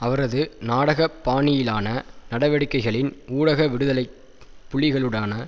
அவரது நாடக பாணியிலான நடவடிக்கைகளின் ஊடாக விடுதலை புலிகளுடான